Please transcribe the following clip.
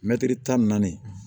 Mɛtiri tan ni naani